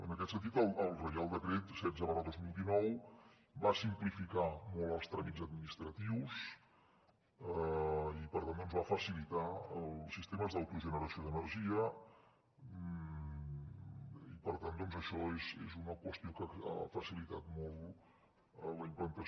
en aquest sentit el reial decret setze dos mil dinou va simplificar molt els tràmits administratius i per tant doncs va facilitar els sistemes d’autogeneració d’energia i això és una qüestió que ha facilitat molt la implantació